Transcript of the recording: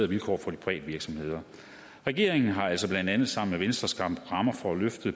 vilkår for de private virksomheder regeringen har altså blandt andet sammen med venstre skabt rammer for at løfte